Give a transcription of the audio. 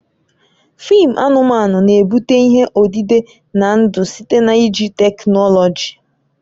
Fịịm anụmanụ na-ebute ihe odide na ndụ site na iji teknọlọji